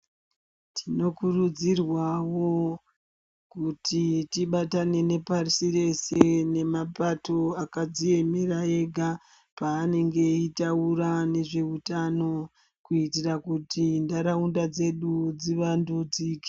Tinokurudzirwawo kuti tibatane nepashireshe nemapato akadziemera ega paanenge eitaura nezveutano kuitira kuti ntharaunda dzedu dzivandudzike.